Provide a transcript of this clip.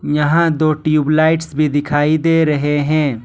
यहां दो tube lights भी दिखाई दे रहे हैं।